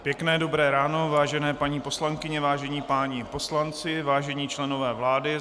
Pěkné dobré ráno, vážené paní poslankyně, vážení páni poslanci, vážení členové vlády.